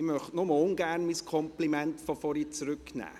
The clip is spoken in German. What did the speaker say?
Ich möchte mein Kompliment von vorhin nur ungern zurücknehmen.